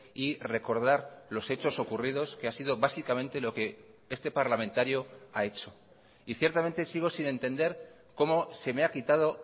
y recordar los hechos ocurridos que ha sido básicamente lo que este parlamentario ha hecho y ciertamente sigo sin entender cómo se me ha quitado